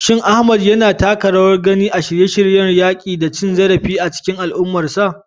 Shin Ahmad yana taka rawar gani a shirye-shiryen yaƙi da cin zarafi a cikin al'ummarsa?